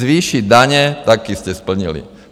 Zvýšit daně - taky jste splnili.